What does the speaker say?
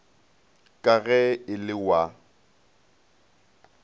ka ge e le wa